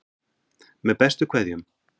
Með bestu kveðjum.